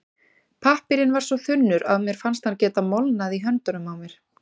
Pappírinn var svo þunnur að mér fannst hann geta molnað í höndunum á mér.